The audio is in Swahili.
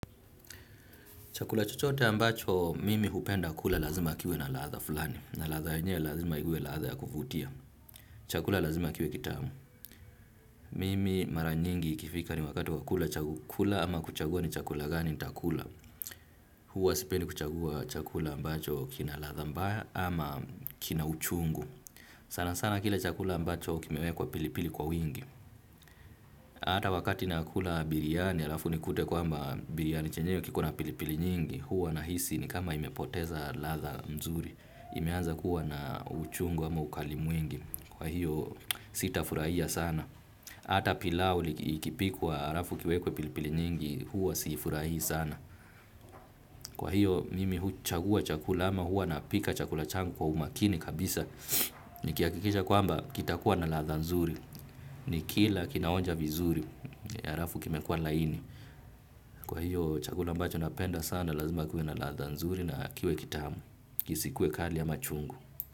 Chakula chochote ambacho mimi hupenda kula lazima kiwe na ladha fulani. Na ladha yenyewe lazima iwe ladha ya kuvutia. Chakula lazima kiwe kitamu. Mimi mara nyingi ikifika ni wakati wa kula chakula ama kuchagua ni chakula gani nitakula. Huwa sipendi kuchagua chakula ambacho kina ladha mbaya ama kina uchungu. Sana sana kile chakula ambacho kimewekwa pilipili kwa wingi. Ata wakati nakula biriani alafu nikute kwamba biriani chenyewe kiko na pilipili nyingi. Huwa nahisi ni kama imepoteza ladha nzuri imeanza kuwa na uchungu ama ukali mwingi kwa hiyo sitafurahia sana ata pilau ikipikwa harafu kiwekwe pilipili nyingi huwa sifurahii sana kwa hiyo mimi huchagua chakula ma huwa napika chakula changu kwa umakini kabisa nikihakikisha kwamba kitakuwa na ladha mzuri nikila kinaonja vizuri alafu kimekua laini kwa hiyo chakula ambacho napenda sana na lazima kuwe na ladha nzuri na kiwe kitamu. Isikue kali ama chungu.